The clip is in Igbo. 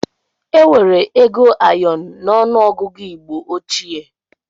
Enwere ego ayọn n'ọnụ ọgụgụ igbo óchiè